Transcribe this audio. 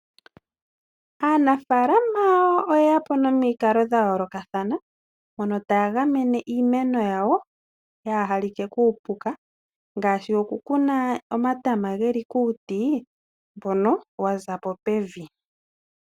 Aanafalama oyeya po nomikalo dha yoolokathana, mpono taa gamene iimeno yawo yaa halike kuupuka, ngaashi oku kuna omatama geli kuuti mbono wa za po pevi.